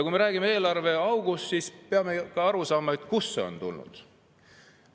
Kui me räägime eelarveaugust, siis peame ka aru saama, kust see on tulnud.